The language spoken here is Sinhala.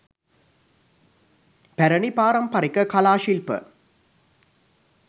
පැරැණි පාරම්පරික කලා ශිල්ප